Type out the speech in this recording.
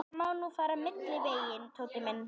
Það má nú fara milliveginn, Tóti minn.